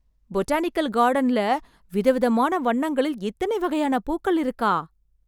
botanical கார்டன்ல, விதவிதமான வண்ணங்களில், இத்தன வகையான பூக்கள் இருக்கா...